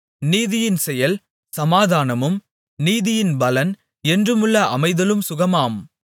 நீதியின் செயல் சமாதானமும் நீதியின் பலன் என்றுமுள்ள அமைதலும் சுகமுமாம்